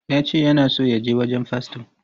Ya ce yana so ya je wurin faston.